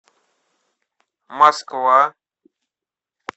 москва